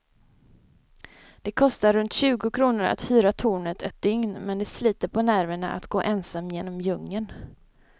Det kostar runt tjugo kronor att hyra tornet ett dygn, men det sliter på nerverna att gå ensam genom djungeln.